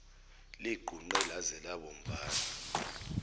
ligqunqe laze labomvana